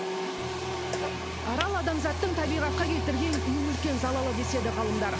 арал адамзаттың табиғатқа келтірген ең үлкен залалы деседі ғалымдар